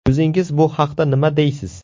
O‘zingiz bu haqda nima deysiz?